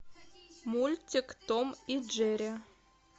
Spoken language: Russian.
мультик том и джерри